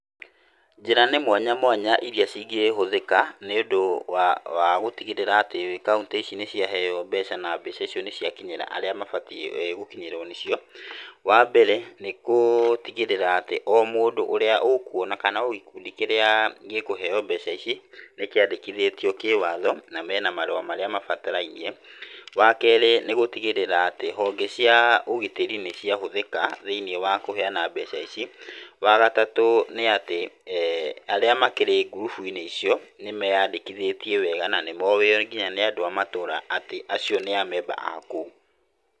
Njĩra nĩ mwanya mwanya iria cingĩhũthĩka nĩ ũndũ wa gíĩtigĩrĩra atĩ kauntĩ ici nĩ ciaheyo mbeca, na mbeca icio nĩ cia kinyĩra arĩa mabatiĩ gũkinyĩrwo nĩcio. Wa mbere, nĩ gũtigĩrĩra atĩ o mundũ ũrĩa ũkuona kana o gĩkundi kĩrĩa gĩkũheyo mbeca ici, nĩ kĩandĩkithĩtio kĩwatho na mena marũa marĩa mabatarainie. Wa kerĩ, nĩ gũtigĩrĩra atĩ honge cia ũgitĩri nĩ ciahũthĩka thĩiniĩ wa kũheyana mbeca ici. Wa gatatũ, nĩ atĩ arĩa makĩrĩ ngurubu-inĩ icio nĩ meyandĩkithĩtie wega na nĩ moĩyo nginya nĩ andũ a matũra atĩ acio nĩ a member a kũu.